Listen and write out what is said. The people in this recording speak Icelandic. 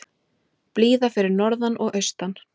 Blíða fyrir norðan og austan